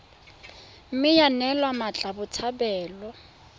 mme ya neelwa mmatla botshabelo